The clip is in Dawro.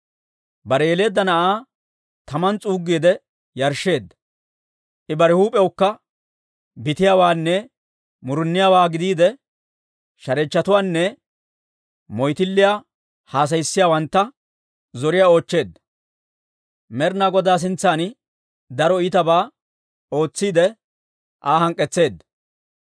Bare yeleedda na'aa taman s'uuggiide yarshsheedda. I bare huup'iyawukka bitiyaawaanne muruniyaawaa gidiide, shareechchotuwaanne moyttilliyaa haasayissiyaawantta zoriyaa oochcheedda. Med'ina Godaa sintsan daro iitabaa ootsiidde, Aa hank'k'etseedda.